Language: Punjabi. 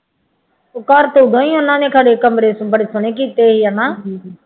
ਉਹ ਘਰ ਤਾਂ ਉਹਦਾਂ ਹੀ ਖਨੀ ਕਮਰੇ ਬੜੇ ਸੋਹਣੇ ਕੀਤੇ ਸੀ ਹੈ ਨਾ